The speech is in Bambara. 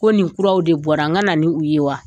Ko nin kuraw de bɔra n ka na nin u ye wa.